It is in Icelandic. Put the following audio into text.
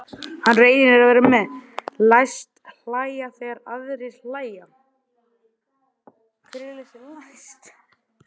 Hann reynir að vera með, læst hlæja þegar aðrir hlæja.